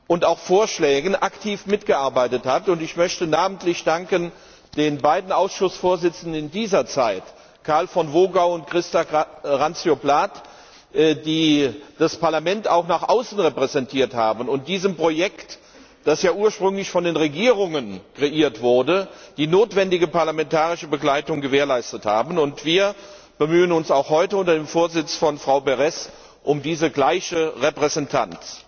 und auch Vorschlägen aktiv mitgearbeitet, und ich möchte namentlich den beiden Ausschussvorsitzenden in dieser Zeit, Karl von Wogau und Christa Randzio Plath, danken, die das Parlament auch nach außen repräsentiert haben und diesem Projekt, das ja ursprünglich von den Regierungen kreiert wurde, die notwendige parlamentarische Begleitung gewährleistet haben. Wir bemühen uns auch heute unter dem Vorsitz von Frau Berès um die gleiche Repräsentanz.